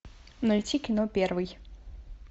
найти кино первый